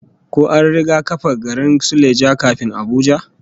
Ko an riga kafa garin Suleja kafin Abuja?